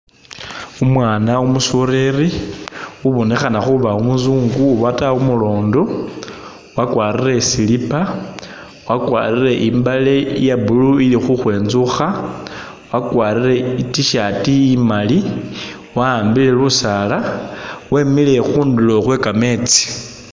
Umwana umusoleri ubonekhana khuba umuzungu obata umulondo wakwarile silipa wakwarile imbale iya'blue ili khukhwentsukha wakwarile i'tshirt imali waambile lusaala wemile khundulo khwe'kametsi